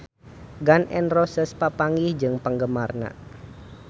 Gun N Roses papanggih jeung penggemarna